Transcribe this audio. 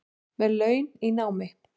Með laun í námi